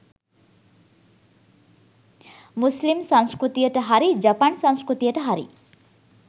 මුස්ලිම් සංස්කෘතියට හරි ජපන් සංස්කෘතියට හරි